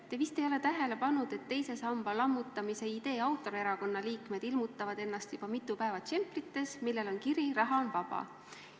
Te vist ei ole tähele pannud, et teise samba lammutamise idee autorerakonna liikmed ilmutavad ennast juba mitu päeva džemprites, millel on kiri "Raha on vaba".